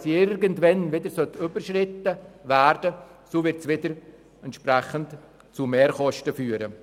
Sollte sie irgendwann wieder überschritten werden, wird das entsprechend zu Mehrkosten führen.